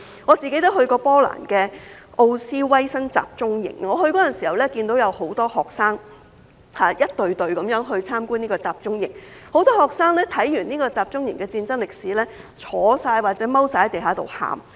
我曾前往波蘭的奧斯威辛集中營，我前往的時候，看到有很多學生，一整隊的前往參觀這個集中營，很多學生看完集中營的戰爭歷史，也坐或蹲在地上哭。